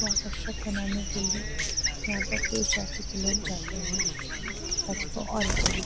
आकर्षक बनाने के लिए यहां पर पुरुष जाति के लोग जाते हैं ताकि वो और अच्छा --